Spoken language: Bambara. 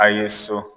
A ye so